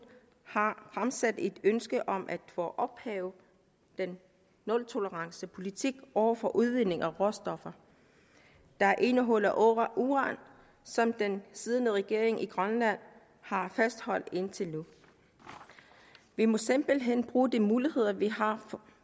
har fremsat et ønske om at få ophævet den nultolerancepolitik over for udvinding af råstoffer der indeholder uran som den siddende regering i grønland har fastholdt indtil nu vi må simpelthen bruge de muligheder vi har